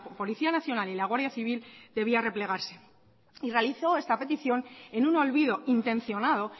policía nacional y la guardia civil debía replegarse y realizó esta petición en un olvido intencionado